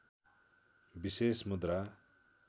विशेष मुद्रा